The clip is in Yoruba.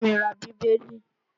Bá mi ra Bíbélì!